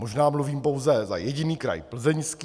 Možná mluvím pouze za jediný kraj, Plzeňský.